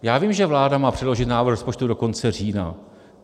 Já vím, že vláda má předložit návrh rozpočtu do konce října.